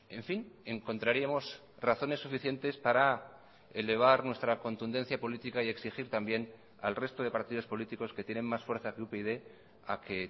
en fin encontraríamos razones suficientes para elevar nuestra contundencia política y exigir también al resto de partidos políticos que tienen más fuerza que upyd a que